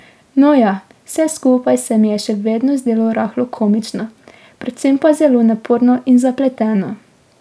No ja, vse skupaj se mi je še vedno zdelo rahlo komično, predvsem pa zelo naporno in zapleteno.